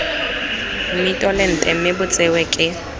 mmitolente mme bo tsewe ke